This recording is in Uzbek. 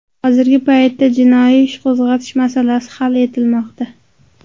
Hozirgi paytda jinoiy ish qo‘zg‘atish masalasi hal etilmoqda.